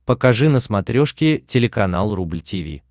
покажи на смотрешке телеканал рубль ти ви